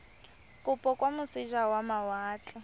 kopo kwa moseja wa mawatle